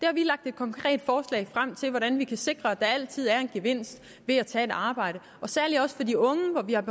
har vi lagt et konkret forslag frem til hvordan vi kan sikre at der altid er en gevinst ved at tage et arbejde særlig for de unge